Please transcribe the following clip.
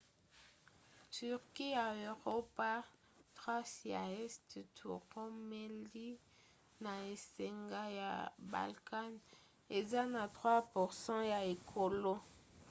turquie ya eropa thrace ya este to roumélie na esanga ya balkan eza na 3% ya ekolo